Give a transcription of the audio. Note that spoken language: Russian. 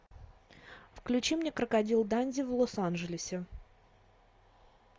включи мне крокодил данди в лос анджелесе